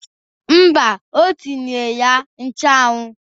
Mba, o tinyere ya nchụmụọ